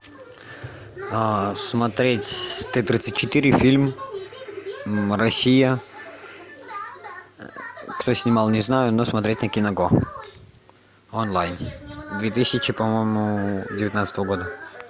смотреть т тридцать четыре фильм россия кто снимал не знаю но смотреть на киного онлайн две тысячи по моему девятнадцатого года